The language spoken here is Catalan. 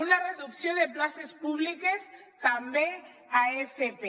una reducció de places públiques també a fp